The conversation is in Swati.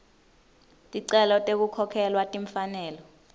ticelo tekukhokhelwa timfanelo